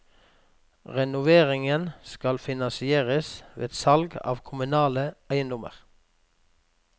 Renoveringen skal finansieres ved salg av kommunale eiendommer.